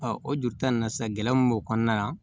o juru ta in na sa gɛlɛya mun b'o kɔnɔna la